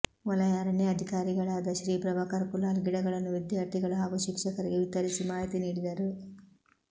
ವಲಯ ಅರಣ್ಯಾಧಿಕಾರಿಗಳಾದ ಶ್ರೀ ಪ್ರಭಾಕರ್ ಕುಲಾಲ್ ಗಿಡಗಳನ್ನು ವಿದ್ಯಾರ್ಥಿಗಳು ಹಾಗೂ ಶಿಕ್ಷಕರಿಗೆ ವಿತರಿಸಿ ಮಾಹಿತಿ ನೀಡಿದರು